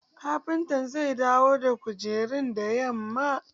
Kafinta zai dawo da kujerun da yamma.